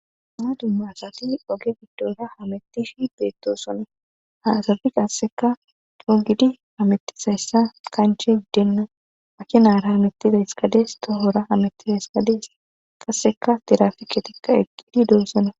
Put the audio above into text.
ama dumma asati oge giddoysa hamettifi beettoosonna ha asafi qasseka coo gidi amettisayssa kanche giddenna makinaara hamettizayskades toohora amettizaysadees qasseka tirafike tikka eqqidi domsona